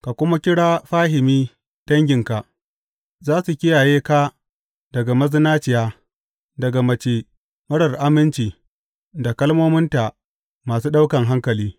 ka kuma kira fahimi danginka; za su kiyaye ka daga mazinaciya, daga mace marar aminci da kalmominta masu ɗaukan hankali.